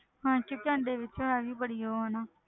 ਹਾਂ ਕਿਉਂਕਿ ਅੰਡੇ ਵਿੱਚ ਹੈ ਵੀ ਬੜੀ ਉਹ ਹੈ ਨਾ।